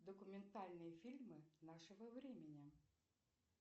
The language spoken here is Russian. документальные фильмы нашего времени